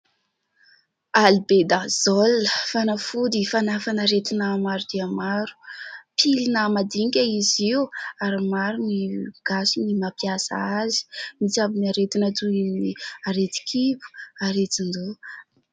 "Albendazole" fanafody fanafana aretina maro dia maro, pilina madinika izy io ary maro ny Gasy no mampiasa azy mitsabo ny aretina toy ny aretin-kibo aretin-doha.